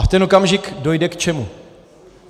A v ten okamžik dojde k čemu?